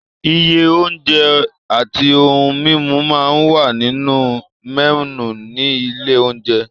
Iye oúnjẹ àti ohun-mímu máa ń wà nínú mẹ́nù ní ilé-oúnjẹ.